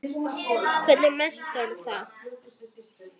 Hvernig meturðu það?